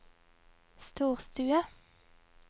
storstue